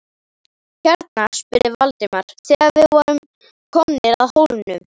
Hérna? spurði Valdimar, þegar við vorum komnir að hólmunum.